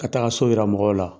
Ka taa so yira mɔgɔw la